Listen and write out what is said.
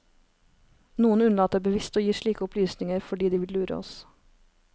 Noen unnlater bevisst å gi slike opplysninger fordi de vil lure oss.